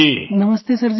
प्रेम जी नमस्ते सर जी